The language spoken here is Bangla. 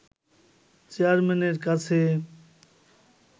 চেয়ারম্যানের কাছে